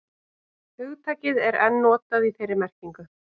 hugtakið er enn notað í þeirri merkingu